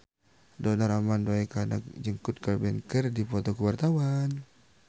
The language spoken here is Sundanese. Donar Armando Ekana jeung Kurt Cobain keur dipoto ku wartawan